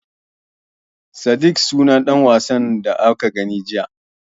Sadik sunan ɗan wasan da muka gani jiya.